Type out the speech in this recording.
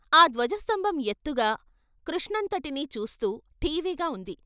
ఆ ధ్వజస్తంభం ఎత్తుగా కృష్ణంత టిని చూస్తూ ఠీవిగా ఉంది.